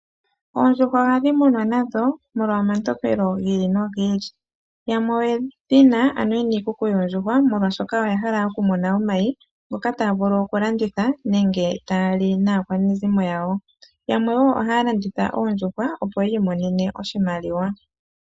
Oondjuhwa ohadhi munwa nadho molwa omatompelo gi ili nogi ili. Yamwe oye dhi na (ye na iikuku yoondjuhwa) molwaashoka oya hala okumuna omayi, ngoka taa vulu okulanditha nenge taa li naakwanezimo yawo. Yamwe wo ohaya landitha oondjuhwa opo yi imonene oshimaliwa.